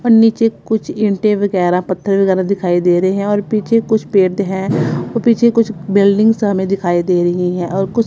और नीचे कुछ ईंटे वगैरह पत्थर वगैरह दिखाई दे रहे हैं और पीछे कुछ पेड़ हैं और पीछे कुछ बिल्डिंग्स हमें दिखाई दे रही हैं और कुछ--